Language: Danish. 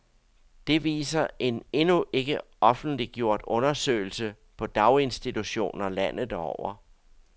Det viser en endnu ikke offentliggjort undersøgelse på daginstitutioner landet over.